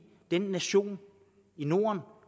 den nation i norden